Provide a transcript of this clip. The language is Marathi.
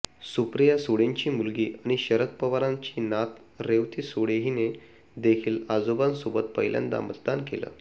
सुप्रिया सुळेंची मुलगी आणि शरद पवारांची नात रेवती सुळे हिने देखील आजोबांसोबत पहिल्यांदा मतदान केलं